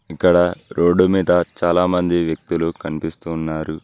ఇక్కడ రోడ్డు మీద చాలా మంది వ్యక్తులు కనిపిస్తూ ఉన్నారు.